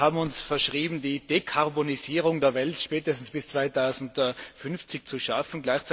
Wir haben uns verschrieben, die Dekarbonisierung der Welt spätestens bis 2050 zu schaffen.